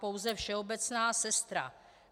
Pouze všeobecná sestra.